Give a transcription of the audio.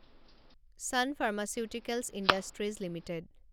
San Pharmaceuticals Industries limited